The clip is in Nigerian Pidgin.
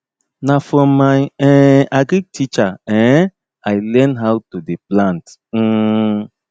na from my um agric teacher um i learn learn how to dey plant um